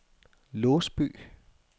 Låsby